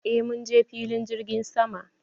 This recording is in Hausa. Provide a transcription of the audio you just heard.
Eh munje filin jirgin sama.